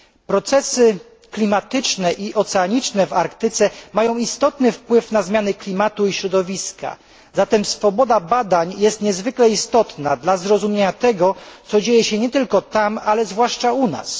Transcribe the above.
Procesy klimatyczne i oceaniczne w Arktyce mają istotny wpływ na zmiany klimatu i środowiska, zatem swoboda badań jest niezwykle istotna dla zrozumienia tego, co dzieje się nie tylko tam, ale zwłaszcza u nas.